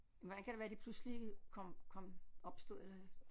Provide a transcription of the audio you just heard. Hvordan kan det være det pludselig kom kom opstod eller